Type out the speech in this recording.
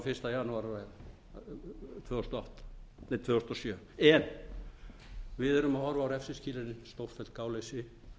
fyrsta janúar tvö þúsund og sjö að ræða en við erum að horfa á refsiskilyrðin stórfellt gáleysi